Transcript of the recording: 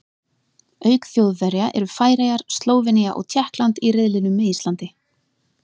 Auk Þjóðverja eru Færeyjar, Slóvenía og Tékkland í riðlinum með Íslandi.